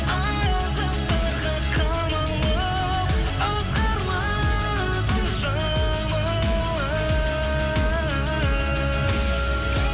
азаптарға қамалып ызғарлы түн жамылып